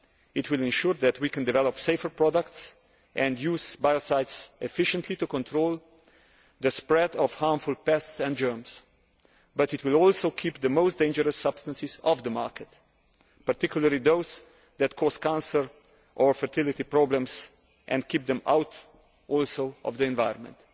It will ensure that we can develop safer products and use biocides efficiently to control the spread of harmful pests and germs, but it will also keep the most dangerous substances off the market, particularly those that cause cancer or fertility problems, and will also keep them out of the environment.